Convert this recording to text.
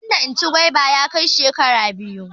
Rabon da in ci gwaiba ya kai shekara biyu.